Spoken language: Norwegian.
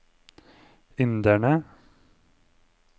inderne